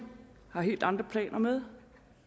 har helt andre planer med